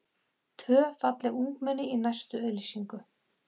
Tvö falleg ungmenni í næstu auglýsingu.